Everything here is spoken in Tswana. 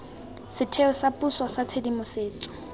setheo sa puso sa tshedimosetso